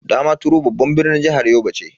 Damaturu babban birnin jihar Yobe ce.